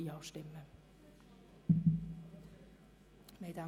Auf die Massnahme ist zu verzichten.